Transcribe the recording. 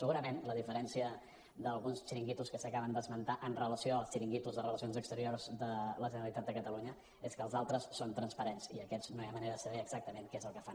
segurament la diferència d’alguns xiringuitos que s’acaben d’esmentar amb relació als xiringuitos de relacions exteriors de la generalitat de catalunya és que els altres són transparents i aquests no hi ha manera de saber exactament què és el que fan